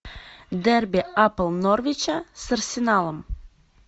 дерби апл норвича с арсеналом